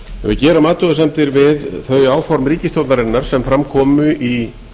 við gerum athugasemdir við þau áform ríkisstjórnarinnar sem fram komu í